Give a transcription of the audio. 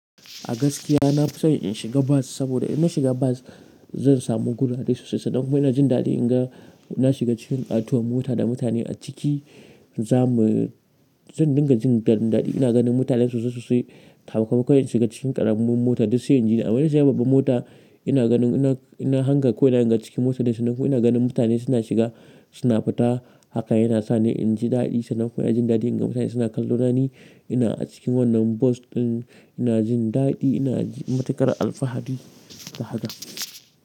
A gaskiya na fi son in shiga bas, saboda in na shiga bas zan samu gurare sosai sosai. Sannan kuma ina jin daɗi in ga na shiga cikin ƙatuwar mota da mutane a ciki. Za mu, zan dinga jin ɗan ɗaɗi. Ina ganin mutane sosai sosai, sakamakon in shiga cikin ƙaramar mota duk sai inji ni. Amma in na shiga babban mota ina ganin ina, inna hanga ko ina ne a cikin motar dai. Nan kuma ina ganin mutane suna shiga suna fita. Haka yana sa ni in ji daɗi. Sannan kuma ina jin daɗi in ga mutane suna kallona ni ina a cikin wannan bas ɗin. Ina jin daɗi ina matuƙar alfahari da haka.